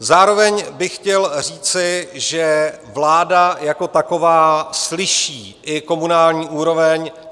Zároveň bych chtěl říci, že vláda jako taková slyší i komunální úroveň.